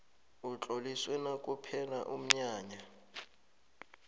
utloliswe nakuphela umnyanya